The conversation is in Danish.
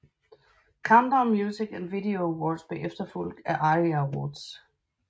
Countdown Music and Video Awards blev efterfulgt af ARIA Awards